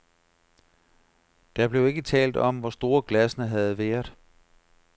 Der blev ikke talt om, hvor store glassene havde været.